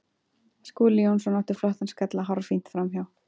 Skúli Jónsson átti flottan skalla hárfínt framhjá.